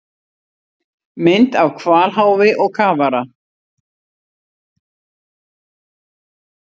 Mynd af hvalháfi og kafara.